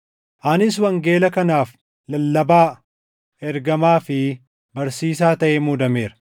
Anis wangeela kanaaf lallabaa, ergamaa fi barsiisaa taʼee muudameera.